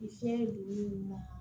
Ni fiɲɛ donni na